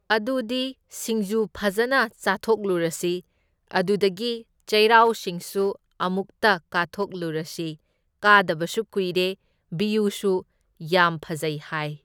ꯑꯗꯨꯗꯤ ꯁꯤꯡꯖꯨ ꯐꯖꯅ ꯆꯥꯊꯣꯛꯂꯨꯔꯁꯤ, ꯑꯗꯨꯗꯒꯤ ꯆꯩꯔꯥꯎꯆꯤꯡꯁꯨ ꯑꯃꯨꯛꯇ ꯀꯥꯊꯣꯛꯂꯨꯔꯁꯤ, ꯀꯥꯗꯕꯁꯨ ꯀꯨꯢꯔꯦ, ꯚꯤꯌꯨꯁꯨ ꯌꯥꯝ ꯐꯖꯩ ꯍꯥꯢ꯫